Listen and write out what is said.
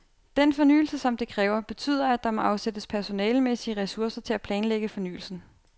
Den fornyelse som det kræver, betyder at der må afsættes personalemæssige ressourcer til at planlægge fornyelsen.